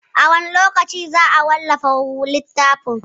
A wane lokaci za a wallafa littafin?